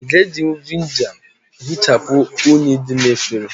Ị́ ga ejinwu Vị́nịga hịchapu unyi dị na efere